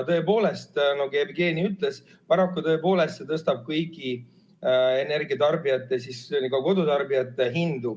Tõepoolest, nagu Jevgeni ütles, see tõstab paraku tõepoolest kõigi energiatarbijate, ka kodutarbijate hindu.